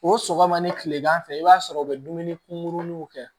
O sɔgɔma ni kilegan fɛ i b'a sɔrɔ u bɛ dumuni kunkuruninw kɛ